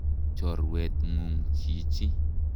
Chorwet ng'ung' chichi.